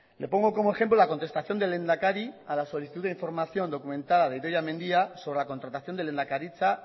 le pongo como ejemplo la contestación del lehendakari a la solicitud de información documentada de idoia mendia sobre la contratación de lehendakaritza